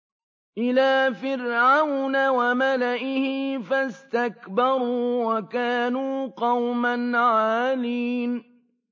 إِلَىٰ فِرْعَوْنَ وَمَلَئِهِ فَاسْتَكْبَرُوا وَكَانُوا قَوْمًا عَالِينَ